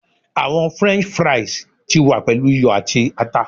Awọn french fries ti wa pelu iyọ ati ata